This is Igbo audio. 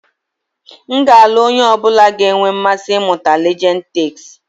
M ga-alụ onye ọ bụla ga-enwe mmasị ịmụta Legend Takes.